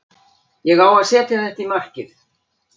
Ég á að setja þetta í markið.